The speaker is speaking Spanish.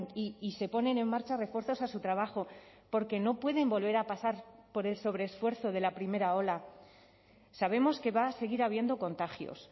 y se ponen en marcha refuerzos a su trabajo porque no pueden volver a pasar por el sobreesfuerzo de la primera ola sabemos que va a seguir habiendo contagios